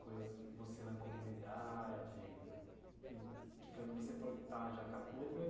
Coisas você na comunidade? E que você pode estar jaca podre, mas